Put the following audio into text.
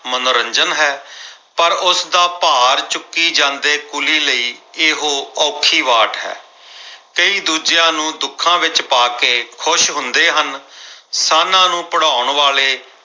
ਮਨੋਰੰਜਨ ਹੈ ਪਰ ਉਸਦਾ ਭਾਰ ਚੁੱਕੀ ਜਾਂਦੇ ਕੁਲੀ ਲਈ ਇਹੋ ਔਖੀ ਵਾਟ ਹੈ। ਕਈ ਦੂਜਿਆਂ ਨੂੰ ਦੁੱਖਾਂ ਵਿੱਚ ਪਾ ਕੇ ਖੁਸ਼ ਹੁੰਦੇ ਹਨ। ਸਾਨ੍ਹਾਂ ਨੂੰ ਭਿੜਾਉਣ ਵਾਲੇ